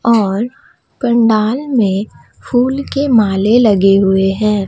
और पंडाल में फूल के माले लगे हुए हैं।